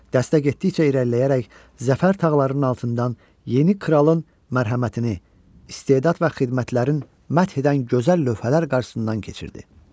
Dəstə getdikcə irəliləyərək zəfər tağlarının altından yeni kralın mərhəmətini, istedad və xidmətlərin məth edən gözəl lövhələr qarşısından keçirdi.